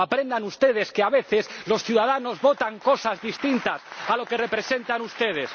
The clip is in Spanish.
Aprendan ustedes que, a veces, los ciudadanos votan cosas distintas a lo que representan ustedes.